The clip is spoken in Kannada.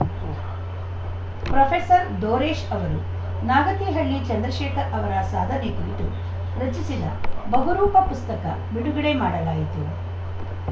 ಉಂ ಪ್ರೊಫೆಸರ್ ದೋರೇಶ್‌ ಅವರು ನಾಗತಿಹಳ್ಳಿ ಚಂದ್ರಶೇಖರ್‌ ಅವರ ಸಾಧನೆ ಕುರಿತು ರಚಿಸಿದ ಬಹುರೂಪ ಪುಸ್ತಕ ಬಿಡುಗಡೆ ಮಾಡಲಾಯಿತು